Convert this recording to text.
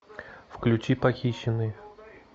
включи похищенный